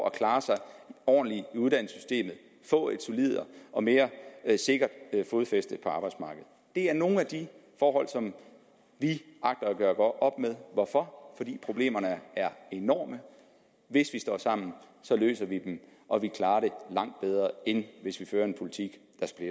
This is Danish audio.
at klare sig ordentligt i uddannelsessystemet og få et solidt og mere sikkert fodfæste på arbejdsmarkedet det er nogle af de forhold som vi agter at gøre op med hvorfor fordi problemerne er enorme hvis vi står sammen så løser vi dem og vi klarer det langt bedre end hvis vi fører en politik